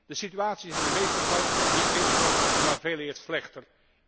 De situatie is in de meeste gevallen niet beter geworden, maar veeleer slechter.